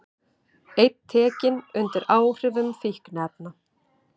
Einn tekinn undir áhrifum fíkniefna